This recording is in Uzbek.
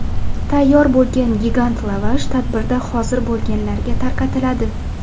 Tayyor bo‘lgan gigant lavash tadbirda hozir bo‘lganlarga tarqatiladi.